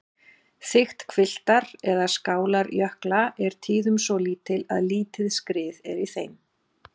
Þykkt hvilftar- eða skálarjökla er tíðum svo lítil að lítið skrið er í þeim.